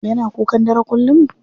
Yana kukan dare kullum?